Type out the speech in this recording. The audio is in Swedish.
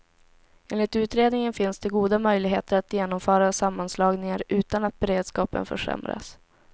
Enligt utredningen finns det goda möjligheter att genomföra sammanslagningar utan att beredskapen försämras.